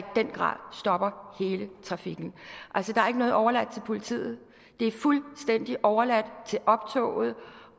den grad stopper hele trafikken altså der er ikke noget overladt til politiet det er fuldstændig overladt til optoget